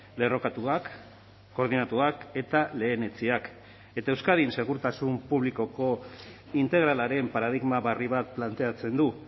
lerrokatuak koordinatuak eta lehenetsiak eta euskadin segurtasun publikoko integralaren paradigma berri bat planteatzen du